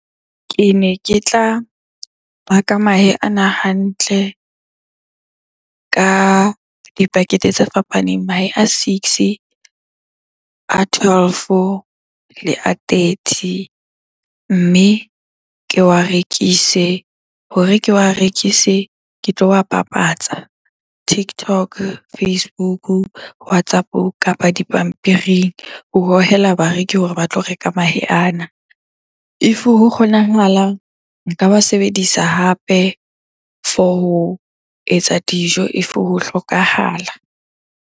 Kene ke tla baka mahe ana hantle ka di-packet-e tse fapaneng. Mahe a six, a twelve, le a thirty mme ke wa rekise. Hore ke wa rekise ke tlo wa bapatsa TikTok, Facebook, WhatsApp-o kapa dipampiring ho hohela bareki hore ba tlo reka mahe ana. If ho kgonahalang, nka ba sebedisa hape for ho etsa dijo if ho hlokahala.